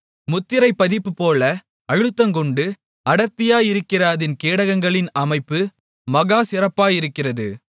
முத்திரைப் பதிப்புபோல அழுத்தங்கொண்டு அடர்த்தியாயிருக்கிற அதின் கேடகங்களின் அமைப்பு மகா சிறப்பாயிருக்கிறது